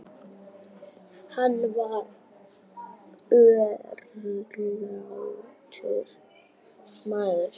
Hann var örlátur maður.